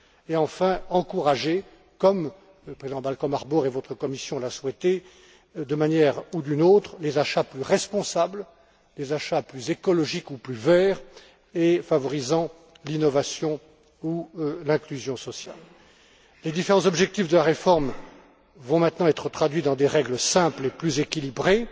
Et, enfin, encourager, comme le président Malcom Harbour et votre commission l'ont souhaité, d'une manière ou d'une autre, des achats plus responsables, des achats plus écologiques ou plus verts et favorisant l'innovation ou l'inclusion sociale. Les différents objectifs de la réforme vont maintenant être traduits dans des règles simples et plus équilibrées.